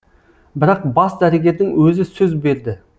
бірақ бас дәрігердің өзі сөз берді